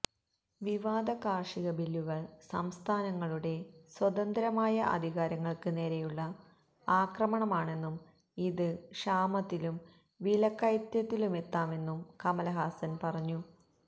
വിവാദ കാര്ഷികബില്ലുകള് സംസ്ഥാനങ്ങളുടെ സ്വതന്ത്രമായ അധികാരങ്ങള്ക്ക് നേരെയുള്ള ആക്രമണമാണെന്നും ഇത് ക്ഷാമത്തിലും വിലക്കയറ്റത്തിലുമെത്താമെന്നും കമല്ഹാസന് പറഞ്ഞു